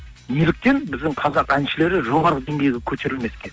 неліктен біздің қазақ әншілері жоғары деңгейге көтерілмеске